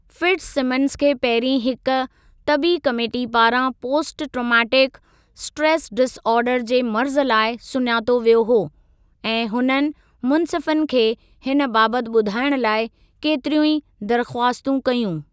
Fitzsimmons खे पहिरीं हिकु तबी कमेटी पारां पोस्ट ट्रॉमेटिक स्ट्रेस डिसऑर्डर जे मर्ज़ु लाइ सुञातो वियो हो ऐं हुननि मुंसिफ़नि खे हिन बाबति ॿुधायणु लाइ केतिरियूं ई दरख़वास्तूं कयूं।